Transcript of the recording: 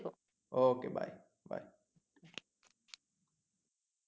OK bye bye